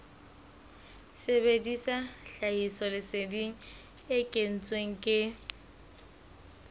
sebedisa tlhahisoleseding e kentsweng ke